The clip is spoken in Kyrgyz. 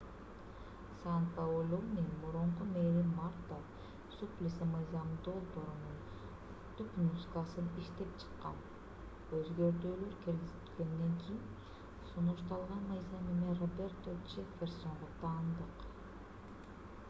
сан-паулунун мурунку мэри марта суплиси мыйзам долбоорунун түпнускасын иштеп чыккан өзгөртүүлөр киргизилгенден кийин сунушталган мыйзам эми роберто джефферсонго таандык